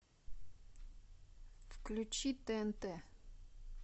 включи тнт